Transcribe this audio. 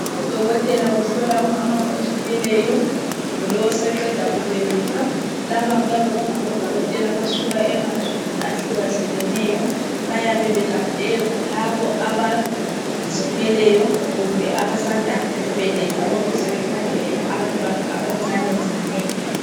Udokotela uhlola umama ozithweleyo kumbe lowo oseqeda kubeletha. Laba kuyabe kungabodokotela abasuka emazweni ahlukahlukeneyo bayabe belande labo abazithweleyo kumbe abasanda kubeletha ukuze bekhangele abantwana abancanencane.